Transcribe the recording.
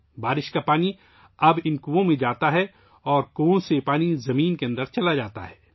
بارش کا پانی اب ان کنوؤں میں آتا ہے اور کنوؤں سے پانی زمین کے اندر چلا جاتا ہے